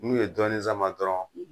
N'u ye dɔɔni sama dɔrɔn